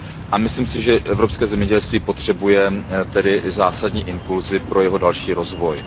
A myslím si, že evropské zemědělství potřebuje zásadní impulsy pro jeho další rozvoj.